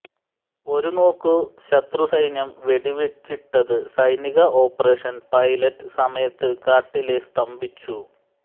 ഒരുനോക്കു ശത്രു സൈന്യം വെടിവെച്ചിട്ടത് സൈനിക ഓപ്പറേഷൻ പൈലറ്റ് സമയത്ത് കാട്ടിലെ സ്തംഭിച്ചു